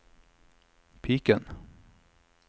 piken